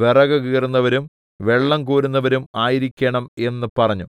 വിറകുകീറുന്നവരും വെള്ളംകോരുന്നവരും ആയിരിക്കേണം എന്ന് പറഞ്ഞു